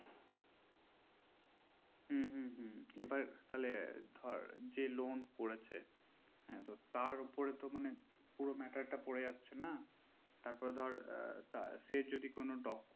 হু হু হু এবার তাহলে যে ধরে loan করেছে তার উপরে তো মানে পুরো matter টা পরে যাচ্ছে না তার পরে ধর সেই যদি কোনো document